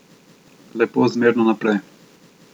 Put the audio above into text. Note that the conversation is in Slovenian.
Lepo zmerno naprej.